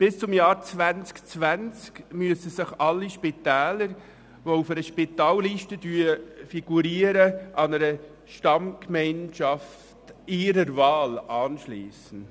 Bis zum Jahr 2020 müssen sich alle Spitäler, die auf einer Spitalliste figurieren, einer Stammgemeinschaft «ihrer Wahl» anschliessen.